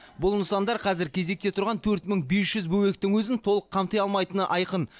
бұл нысандар қазір кезекте тұрған төрт мың бес жүз бөбектің өзін толық қамти алмайтыны айқын